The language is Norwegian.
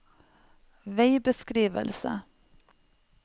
veibeskrivelse